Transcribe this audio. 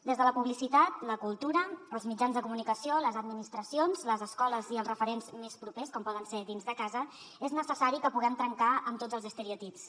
des de la publicitat la cultura els mitjans de comunicació les administracions les escoles i els referents més propers com poden ser dins de casa és necessari que puguem trencar amb tots els estereotips